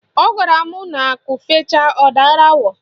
Ọ gwara m na akụ fechaa, ọ dara awọ